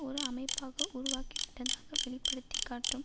ஒரு அமைப்பாக உருவாகிவிட்டதாக வெளிப்படுத்திக்காட்டும்